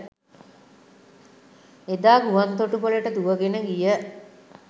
එදා ගුවන් තොටුපළට දුවගෙන ගිය